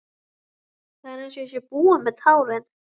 Það er einsog ég sé búin með tárin.